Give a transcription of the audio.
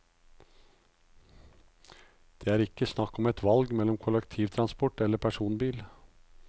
Det er ikke snakk om et valg mellom kollektiv transport eller personbil.